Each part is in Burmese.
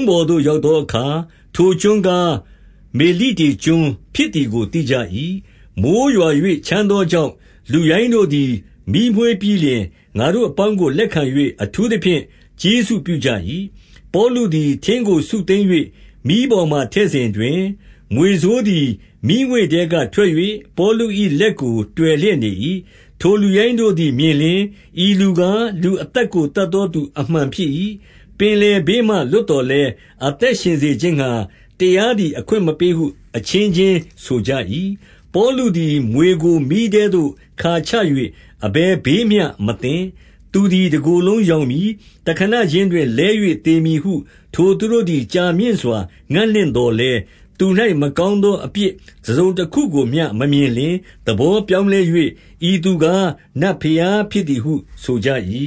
းပေါ်သို့ ရောက်သောအခါ၊ ထိုကျွန်းကား မေလိတေကျွန်းဖြစ်သည်ကို သိကြ၏။ 2 မိုဃ်းရွာ၍ ချမ်းသောကြောင့်လူရိုင်းတို့သည် မီးမွေးပြီးလျှင်၊ ငါတို့အပေါင်းကို လက်ခံ၍ အထူးသဖြင့် ကျေးဇူးပြုကြ၏။ 3 ပေါလုသည် ထင်းကိုစုသိမ်း၍ မီးပေါ်မှာ ထည့်စဉ်တွင်၊ မြွေဆိုးသည်မီးငွေ့ထဲကထွက်၍ ပေါလု၏ လက်ကို တွယ်လျက်နေ၏။ 4 ထိုလူရိုင်းတို့သည်မြင်လျှင်၊ ဤလူကား၊ လူ အသက်ကို သတ်သောသူ အမှန်ဖြစ်၏။ ပင်လယ်ဘေးမှ လွတ်သော်လည်း၊ အသက်ရှင်စေခြင်းငှါ တရားသည် အခွင့်မပေးဟု အချင်းချင်းဆိုကြ၏။ 5 ပေါလုသည်မြွေကို မီးထဲသို့ခါချ၍ အဘယ် ဘေးမျှမသင့်။ 6 သူသည်တကိုယ်လုံးရောင်မည်၊ တခဏခြင်း တွင်လဲ၍သေမည်ဟု ထိုသူတို့သည်ကြာမြင့်စွာ ငံ့လင့် သော်လည်း၊ သူ၌မကောင်းသော အပြစ်တစုံတခုကိုမျှ မမြင်လျှင် သဘောပြောင်းလဲ၍ ဤသူကားနတ် ဘုရား ဖြစ်သည်ဟု ဆိုကြ၏။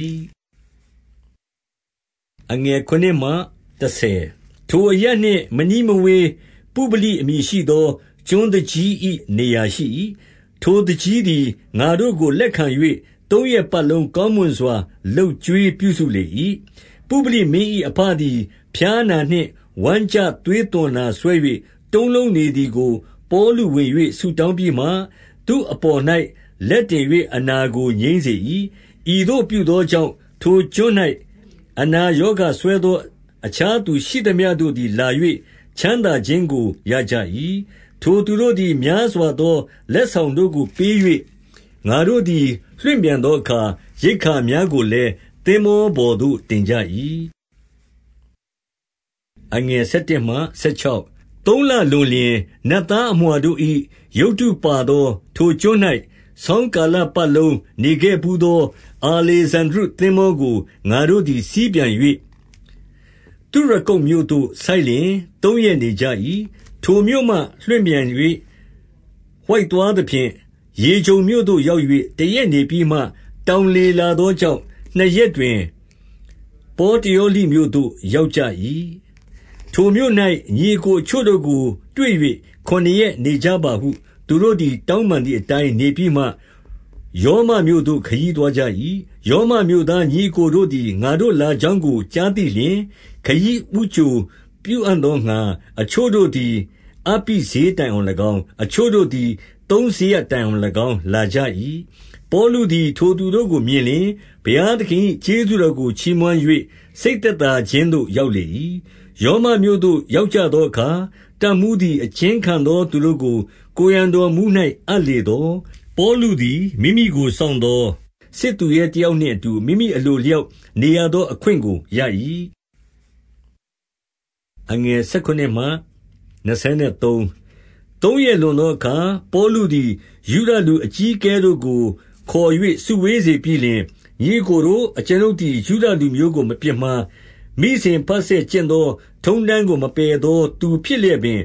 7 ထိုအရပ်နှင့်မနီးမဝေးပုဗလိ အမည်ရှိသော ကျွန်းသူကြီး၏ နေရာရှိ၏။ ထိုသူကြီးသည် ငါတို့ကိုလက်ခံ ၍၊ သုံးရက်ပတ်လုံး ကောင်းမွန်စွာ လုပ်ကျွေးပြုစုလေ၏။ 8 ပုဗလိမင်း၏အဘသည်ဖျားနာနှင့် ဝမ်းကျသွေးသွန်နာစွဲ၍၊ တုံးလုံးနေသည်ကို ပေါလုဝင်၍ ဆုတောင်း ပြီးမှ၊ သူ့အပေါ်၌ လက်တင်၍ အနာကို ငြိမ်းစေ၏။ 9 ဤသို့ပြုသောကြောင့်၊ ထိုကျွန်း၌ အနာရောဂါစွဲသော အခြားသူရှိသမျှတို့သည် လာ၍ ချမ်းသာခြင်းကို ရကြ၏။ 10 ထိုသူတို့သည် များစွာသော လက်ဆောင်တို့ကို ပေး၍ ၊ ငါတို့သည် လွှင့်ပြန်သောအခါ၊ ရိက္ခာများကို လည်း သင်္ဘောပေါ်သို့ တင်ကြ၏။ 11 သုံးလလွန်လျှင်၊ နတ်သားအမြွှာတို့၏ ရုပ်တု ပါသော ထိုကျွန်း၌ ဆောင်းကာလပတ်လုံးနေခဲ့ဘူးသော အာလေဇန္ဒြိသင်္ဘောကို ငါတို့သည် စီးပြန်၍၊ 12 သုရကုတ်မြို့သို့ဆိုက်လျှင် သုံးရက်နေကြ၏။ 13 ထိုမြို့မှလွှင့်ပြန်၍ ဝိုက်သွားသဖြင့်၊ ရေဂျုန်မြို့ သို့ရောက်၍ တရက်နေပြီးမှ တောင်လေလာသော ကြောင့်၊ နှစ်ရက်တွင်ပေါတယောလိ မြို့သို့ရောက်ကြ၏။ 14 ထိုမြို့၌ ညီအစ်ကိုအချို့တို့ကိုတွေ့၍ ခုနစ်ရက် နေကြပါဟု သူတို့သည်တောင်းပန်သည် အတိုင်းနေပြီးမှ၊ ရောမမြို့သို့ ခရီးသွားကြ၏။ 15 ရောမမြို့သားညီအစ်ကိုတို့သည် ငါတို့လာကြောင်းကို ကြားသိလျှင်၊ ခရီးဦးကြိုပြုအံ့သောငှါ အချို့တို့ သည် အပ္ပိဈေးတိုင်အောင်၎င်း၊ အချို့တို့သည် သုံးစရပ်တိုင်အောင်၎င်းလာကြ၏။ ပေါလုသည် ထိုသူတို့ကို မြင်လျှင်၊ ဘုရားသခင်၏ကျေးဇူးတော်ကို ချီးမွမ်း၍ စိတ်သက်သာခြင်းသို့ ရောက်လေ၏။ 16 ရောမမြို့သို့ရောက်ကြသောအခါ တပ်မှူးသည် အကျဉ်းခံသောသူတို့ကို ကိုယ်ရံတော်မှူး၌ အပ်လေသော်၊ ပေါလုသည်မိမိကို စောင့်သောစစ်သူရဲတယောက်နှင့် အတူမိမိအလိုအလျောက်နေရသော အခွင့်ကိုရ၏။ 17 သုံးရက်လွန်သောအခါ၊ ပေါလုသည် ယုဒလူ အကြီးအကဲတို့ကို ခေါ်၍စုဝေးစေပြီးလျှင်၊ ညီအစ်ကိုတို့၊ အကျွန်ုပ်သည်ယုဒလူမျိုးကို မပြစ်မှား၊ မိစဉ်ဘဆက် ကျင့်သောထုံးတမ်းကို မပယ်သောသူဖြစ်လျက်ပင်၊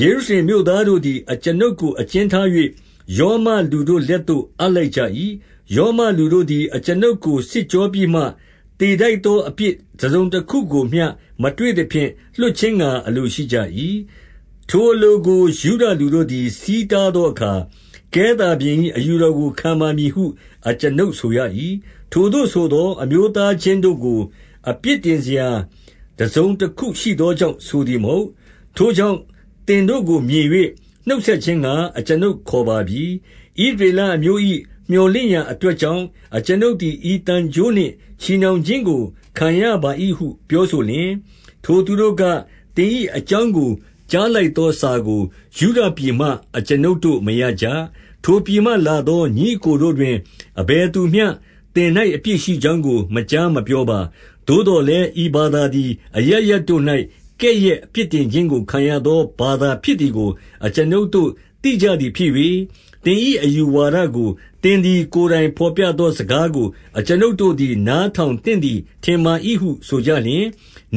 ယေရှုရှလင်မြို့သားတို့သည် အကျွန်ုပ်ကို အကျဉ်းထား၍ ရောမလူတို့ လက်သို့ အပ်လိုက်ကြ၏။ 18 ရောမလူတို့သည် အကျွန်ုပ်ကိုစစ်ကြောပြီးမှ၊ သေထိုက်သော အပြစ်တစုံတခုကိုမျှ မတွေ့သဖြင့် လွှတ်ခြင်းငှါအလိုရှိကြ၏။ 19 ထိုအလိုကိုယုဒလူတို့သည် ဆီးတားသောအခါ၊ ကဲသာဘုရင်၏ အယူတော်ခံပါမည်ဟုအကျွန်ုပ် ဆိုရ၏။ ထိုသို့ဆိုသော် အမျိုးသားချင်းတို့ကို အပြစ်တင်စရာ တစုံတခုရှိသောကြောင့်ဆိုသည်မဟုတ်။ ထိုကြောင့် သင်တို့ကိုမြင်၍ နှုတ်ဆက်ခြင်းငှါ အကျွန်ုပ်ခေါ်ပါပြီ။ 20 ဣသရေလအမျိုး၏မြောက်လင့်ရာ အတွက်ကြောင့်၊ အကျွန်ုပ်သည် ဤသံကြိုးနှင့်ချည်နှောင်ခြင်းကို ခံရပါ၏ဟု ပြောဆိုလျှင်၊ 21 ထိုသူတို့က၊ သင်၏အကြောင်းကို ကြားလိုက်သောစာကို ယုဒပြည်မှအကျွန်ုပ်တို့မရကြ။ ထိုပြည်မှ လာသော ညီအစ်ကိုတို့တွင် အဘယ်သူမျှ သင်၌ အပြစ် ရှိကြောင်းကို မကြားမပြောပါ။ 22 သို့သော်လည်း ဤဘာသာသည် အရပ်ရပ်တို့၌ ကဲ့ရဲ့အပြစ်တင်ခြင်းကို ခံရသော ဘာသာဖြစ်သည်ကို အကျွန်ုပ်တို့သိကြသည်ဖြစ်၍ သင်၏အယူဝါဒကို သင်သည် ကိုယ်တိုင်တော်ပြသောစကားကို အကျွန်ုပ် တို့သည် နားထောင်သင့်သည်ထင်ပါ၏ဟု ဆိုကြလျှင်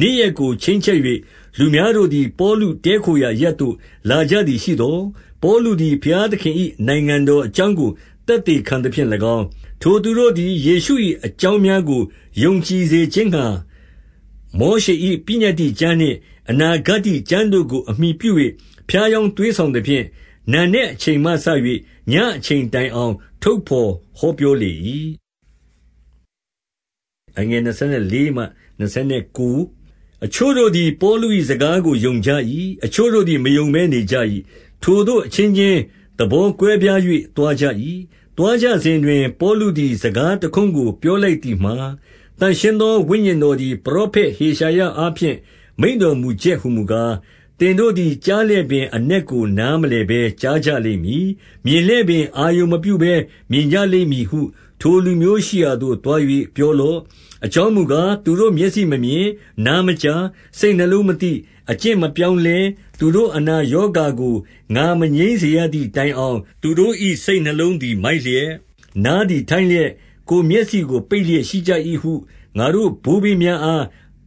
၊ 23 နေ့ရက်ကိုချိန်းချက်၍ လူများတို့သည်ပေါလု တည်းခိုရာ အရပ်သို့ လာကြသည်ရှိသော်၊ ပေါလုသည် ဘုရားသခင်၏ နိုင်ငံတော် အကြောင်းကိုသက်သေခံ သဖြင့်၎င်း၊ ထိုသူတို့သည် ယေရှု၏အကြောင်းများကို ယုံကြည်စေခြင်းငှါ၊ မောရှေ၏ပညတ္တိကျမ်းနှင့် အနာဂတ္တိ ကျမ်းတို့ကို အမှီပြု၍ ဖြားယောင်းသွေးဆောင် သဖြင့်၎င်း၊ နံနက်အချိန်မှစ၍ ညအချိန်တိုင်အောင်ထုတ်သော် ဟောပြောလေ၏။ 24 အချို့တို့သည် ပေါလု၏စကားကို ယုံကြ၏။ အချို့တို့သည် မယုံဘဲနေကြ၏။ 25 ထိုသို့အချင်းချင်းသဘောကွဲပြား၍ သွားကြ၏။ သွားကြစဉ်တွင် ပေါလုသည် စကားတခွန်းကို ပြောလိုက် သည်မှာ၊ သန့်ရှင်းသော ဝိညာဉ်တော်သည် ပရောဖက် ဟေရှာယအားဖြင့် မိန့်တော်မူချက်ဟူမူကား၊ 26 သင်တို့သည် ကြားလျက်ပင်အနက်ကို နား မလည်ဘဲ ကြားကြလိမ့်မည်။ မြင်လျက်ပင် အာရုံမပြုဘဲ မြင်ကြလိမ့် မည်ဟု ထိုလူမျိုးရှိရာသို့ သွား၍ပြောလော့။ 27 အကြောင်းမူကား၊ သူတို့မျက်စိမမြင်၊ နား မကြား၊ စိတ်နှလုံးမသိ၊ အကျင့်မပြောင်းလဲ သူတို့အနာ ရောဂါကို ငါမငြိမ်းစေရသည်တိုင်အောင် သူတို့၏ စိတ်နှလုံးသည် မိုက်လျက်၊ နားသည်ထိုင်းလျက်၊ ကိုယ်မျက်စိကိုပိတ်လျက် ရှိကြ၏ဟုငါတို့ဘိုးဘေးများအား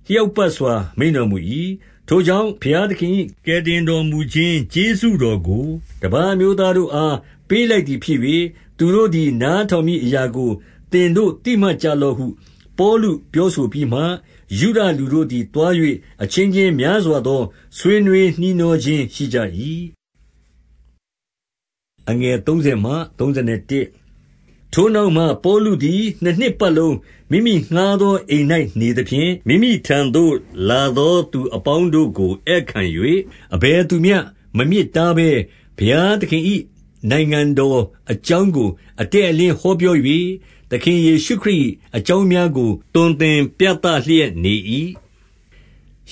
လျောက်ပတ်စွာ မိန့်တော်မူ၏။ 28 ထိုကြောင့် ဘုရားသခင်၏ ကယ်တင်တော်မူ ခြင်း ကျေးဇူးတော်ကို တပါးအမျိုးသားတို့အား ပေးလိုက် သည်ဖြစ်၍၊ သူတို့သည်နားထောင်မည်အရာကို သင်တို့ သိမှတ်ကြလော့ဟု၊ 29 ပေါလုပြောဆိုပြီးမှ၊ ယုဒလူတို့သည် သွား၍ အချင်းချင်းများစွာသော ဆွေးနွေးနှီးနှောခြင်းရှိကြ၏။ 30 ထိုနောက်မှပေါလုသည် နှစ်နှစ်ပတ်လုံး မိမိငှါးသော အိမ်၌နေသဖြင့်၊ မိမိထံသို့လာသော သူအပေါင်း တို့ကို ဧည့်ခံ၍၊ 31 အဘယ်သူမျှမမြစ်တားဘဲ၊ ဘုရားသခင်၏ နိုင်ငံတော် အကြောင်းကိုအတည့်အလင်းဟောပြော၍၊ သခင်ယေရှုခရစ်၏ အကြောင်းများကို သွန်သင်ပြသလျက်နေ၏